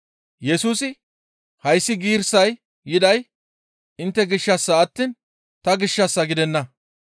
Yesusi, «Hayssi giirissay yiday intte gishshassa attiin ta gishshas gidenna.